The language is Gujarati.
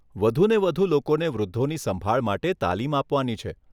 વધુને વધુ લોકોને વૃદ્ધોની સંભાળ માટે તાલીમ આપવાની છે.